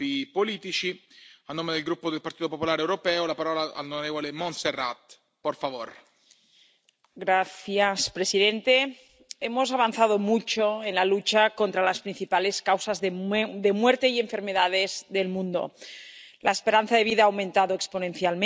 Señor presidente, hemos avanzado mucho en la lucha contra las principales causas de muerte y enfermedades del mundo la esperanza de vida ha aumentado exponencialmente, las tasas de mortalidad infantil y materna han disminuido,